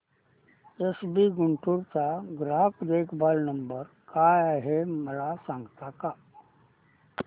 SBI Guntur चा ग्राहक देखभाल नंबर काय आहे मला सांगता का